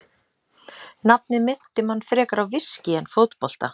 Nafnið minnti mann frekar á viskí en fótbolta.